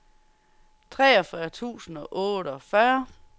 treogfyrre tusind og otteogfyrre